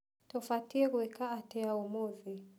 Tũbatiĩ gũĩka atĩa ũmũthĩ?